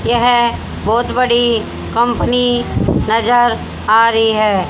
यह बहोत बड़ी कंपनी नजर आ रही है।